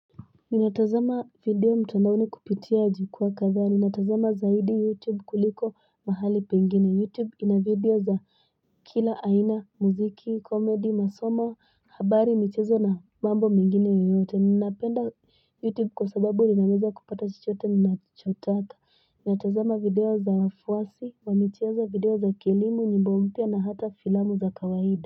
Ninatazama video mtandaoni kupitia jikwaa kadhaa. Ninatazama zaidi YouTube kuliko mahali pengine. YouTube ina video za kila aina, muziki, komedi, masomo, habari, michezo na mambo mengine yoyote. Ninapenda YouTube kwa sababu ninaweza kupata chochote nachotaka. Ninatazama video za wafuasi, wamichezo video za kilimo, nyimbo mpya na hata filamu za kawaida.